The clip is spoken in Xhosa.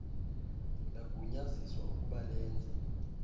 lagunyaziswa ukub alenze